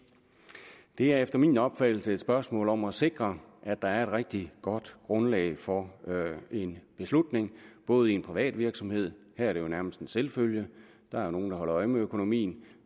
det er efter min opfattelse et spørgsmål om at sikre at der er et rigtig godt grundlag for en beslutning både i en privat virksomhed her er det jo nærmest en selvfølge der er nogen der holder øje med økonomien